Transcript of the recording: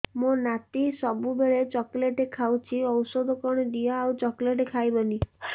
ମୋ ନାତି ସବୁବେଳେ ଚକଲେଟ ଖାଉଛି ଔଷଧ କଣ ଦିଅ ଆଉ ଚକଲେଟ ଖାଇବନି